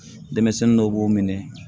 Denmisɛnnin dɔw b'u minɛ